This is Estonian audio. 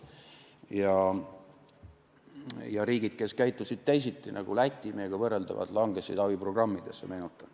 Meenutan, et riigid, kes käitusid teisiti, nagu Läti , kukkusid abiprogrammidesse.